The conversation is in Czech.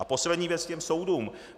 A poslední věc k těm soudům.